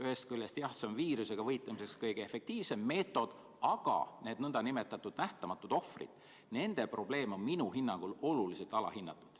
Ühest küljest, jah, see on viirusega võitlemiseks kõige efektiivsem meetod, aga need nn nähtamatud ohvrid, nende probleem on minu hinnangul oluliselt alahinnatud.